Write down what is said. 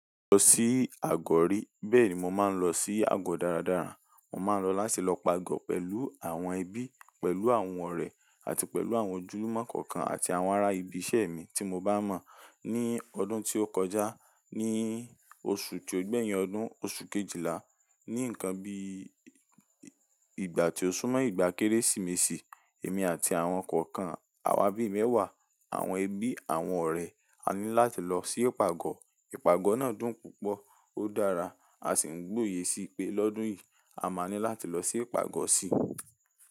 Lọ sí Àgọ̀ rí. Bẹ́ẹ̀ni mo máa ń lọ sí àgọ̀ dáradára. Mo máa ń lọ láti lọ pago pẹ̀lú àwọn ẹbí, pẹ̀lú àwọn ọ̀rẹ́ àti pẹ̀lú àwọn ojúlùmọ̀ kọ̀ọ̀kan àti àwọn ará ibi iṣẹ́ mi tí mo bá mọ̀. Ní ọdún tó kọjá, ní oṣù tí ó gbé yẹn ọdún, oṣù Kejìlá. Ní ǹkan bí ìgbà tí ó súnmọ́ ìgbà Kérésìmesì, èmi àti àwọn kọ̀ọ̀kan àwa bí mẹ́wàá, àwọn ẹbí, àwọn ọ̀rẹ́, a ní láti lọ sí ìpàgọ̀. Ìpàgọ̀ náà dùn púpọ̀, ó dára. A sì ń gbòye sí i pé lọ́dún yìí a máa ní láti lọ sí ìpàgọ̀ sí.